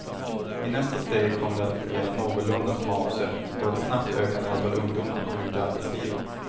I nästa steg kom det att fungera någorlunda som avsett och ett snabbt ökande antal ungdomar kom ut i arbetslivet.